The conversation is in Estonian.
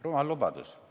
Rumal lubadus.